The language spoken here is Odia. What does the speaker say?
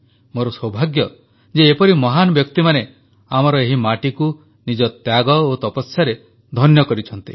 ମୋର ସୌଭାଗ୍ୟ ଯେ ଏପରି ମହାନ ବ୍ୟକ୍ତିମାନେ ଆମର ଏହି ମାଟିକୁ ନିଜ ତ୍ୟାଗ ଓ ତପସ୍ୟାରେ ଧନ୍ୟ କରିଛନ୍ତି